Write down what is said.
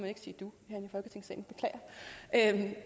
ikke sige du herinde